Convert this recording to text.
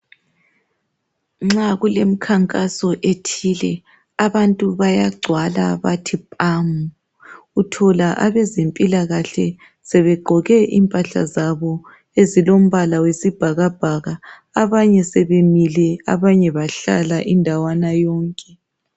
Nxa kulemikhankaso ethile abantu bayagcwala bathi phamu. Uthola abezempilakahle sebegqoke impahla zabo ezilombala wesibhakabhaka. Abanye sebemile abanye bahlala indawana yonke.